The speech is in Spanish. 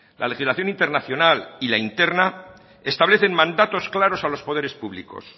la legislación internacional y la interna establecen mandatos claros a los poderes públicos